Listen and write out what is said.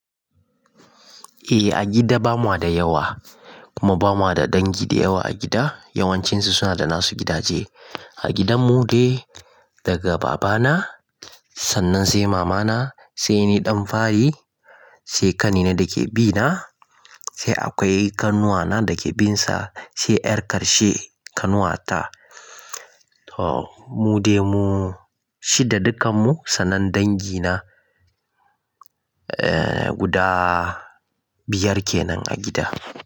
Eh a gida ba mu da yawa kuma ba mu da dangi da yawa a gida. Yawancinsu suna da nasu gidaje. A gidan mu dai daga babana sannan sai mamana sai ni ɗan fari sai ƙanina da ke bina sai akwai ƙanuwana da ke binsa sai ƴar ƙarshe ƙanuwata. To mu dai mu shida dukkan mu sannan dangi na, guda biyar kenan a gida.